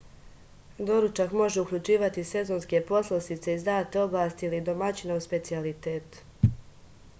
doručak može uključivati sezonske poslastice iz date oblasti ili domaćinov specijalitet